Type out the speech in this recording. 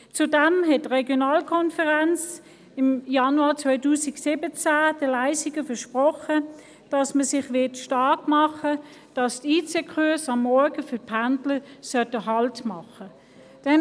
Zudem hat die RVK im Januar 2017 den Leissigern versprochen, sich dafür stark zu machen, dass die IC-Kurse am Morgen für die Pendler anhalten werden.